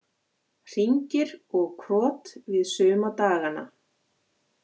Hringir og krot við suma dagana.